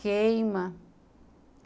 Queima.